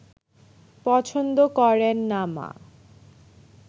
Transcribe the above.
পছন্দ করেন না মা